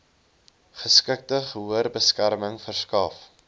geskikte gehoorbeskerming verskaf